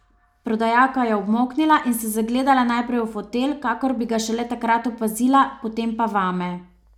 Prodajalka je obmolknila in se zagledala najprej v fotelj, kakor bi ga šele takrat opazila, potem pa vame.